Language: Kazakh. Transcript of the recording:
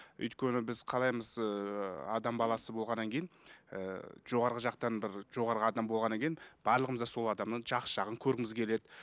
өйткені біз қалаймыз ыыы адам баласы болғаннан кейін ііі жоғарғы жақтан бір жоғарғы адам болғаннан кейін барлығымыз да сол адамнан жақсы жағын көргіміз келеді